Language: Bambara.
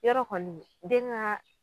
Yarɔ kɔni den ka